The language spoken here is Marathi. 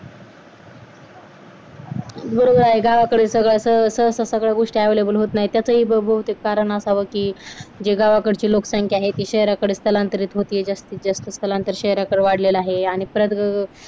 बरोबर आहे गावाकडे कसं सहसा सगळ्या गोष्टी available होत नाही त्यातही बहुतेक कारण असावं की गावाकडे ची लोकसंख्या आहे आहे तीस स्थलांतरित होते जास्त स्थलांतरित शहराकडे वाढलेला आहे आणि पद् अह